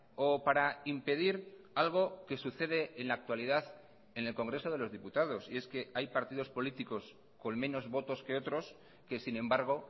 o para impedir algo que sucede en la actualidad en el congreso de los diputados y es que hay partidos políticos con menos votos que otros que sin embargo